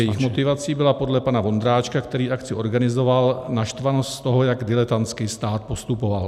Jejich motivací byla podle pana Vondráčka, který akci organizoval, naštvanost z toho, jak diletantsky stát postupoval.